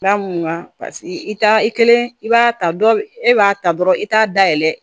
Paseke i t'a i kelen i b'a ta dɔ e b'a ta dɔrɔn i t'a dayɛlɛ